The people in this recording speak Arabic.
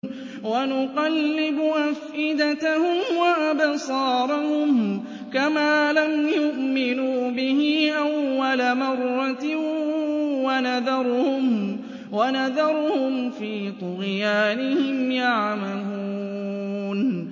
وَنُقَلِّبُ أَفْئِدَتَهُمْ وَأَبْصَارَهُمْ كَمَا لَمْ يُؤْمِنُوا بِهِ أَوَّلَ مَرَّةٍ وَنَذَرُهُمْ فِي طُغْيَانِهِمْ يَعْمَهُونَ